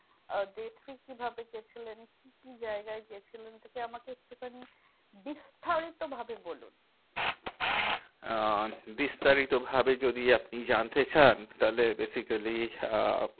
আহ day three কিভাবে গেছিলেন? কি কি জায়গায় গেছিলেন? আমাকে একটুখানি বিস্তারিত ভাবে বলুন। আহ বিস্তারিত ভাবে যদি আপনি জানতে চান তাহলে basically আহ